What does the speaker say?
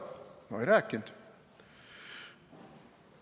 No ei rääkinud.